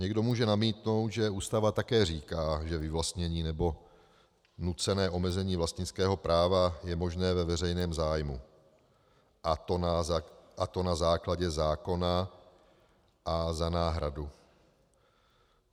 Někdo může namítnout, že Ústava také říká, že vyvlastnění nebo nucené omezení vlastnického práva je možné ve veřejném zájmu, a to na základě zákona a za náhradu.